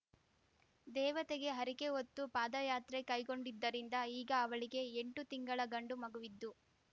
ದೇವತೆಗೆ ಹರಿಕೆಹೊತ್ತು ಪಾದಯಾತ್ರೆ ಕೈಗೊಂಡಿದ್ದರಿಂದ ಈಗ ಅವಳಿಗೆ ಎಂಟು ತಿಂಗಳ ಗಂಡು ಮಗುವಿದ್ದು